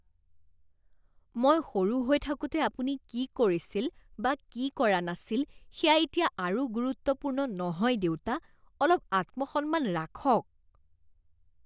মই সৰু হৈ থাকোঁতে আপুনি কি কৰিছিল বা কি কৰা নাছিল সেয়া এতিয়া আৰু গুৰুত্বপূৰ্ণ নহয় দেউতা। অলপ আত্মসন্মান ৰাখক!